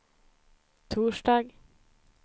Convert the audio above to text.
torsdag